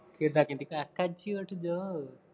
ਕਿਦਾਂ ਕਹਿੰਦੀ ਕਾਕਾ ਜੀ ਉੱਠ ਜੋ